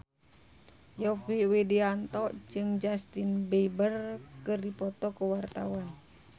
Yovie Widianto jeung Justin Beiber keur dipoto ku wartawan